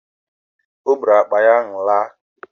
Ọ bụụrụ akpa ahụ laa